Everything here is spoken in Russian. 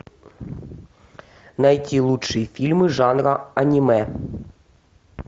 найти лучшие фильмы жанра аниме